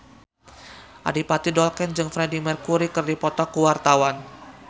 Adipati Dolken jeung Freedie Mercury keur dipoto ku wartawan